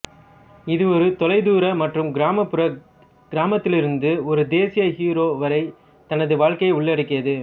இது ஒரு தொலைதூர மற்றும் கிராமப்புற கிராமத்திலிருந்து ஒரு தேசிய ஹீரோ வரை தனது வாழ்க்கையை உள்ளடக்கியது